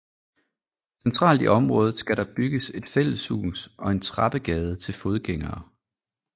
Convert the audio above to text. Centralt i området skal der bygges et fælleshus og en trappegade til fodgængere